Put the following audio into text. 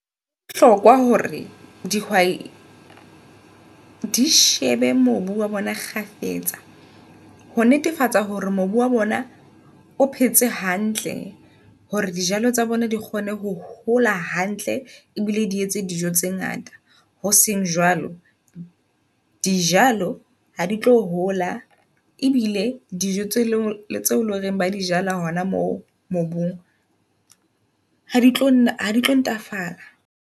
Bohlokwa hore di shebe mobu oa bona kgafetsa ho netefatsa hore mobu wa bona o phetse hantle hore dijalo tsa bona di kgone ho hola hantle ebile di etse dijo tse ngata. Hoseng jwalo dijaloha di tlo hola ebile dijo tse loreng ba di hona mo mobung, ha di tlo ntlafala.